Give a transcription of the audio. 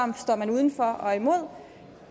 uden for og er imod